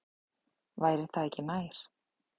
Væri það ekki nær?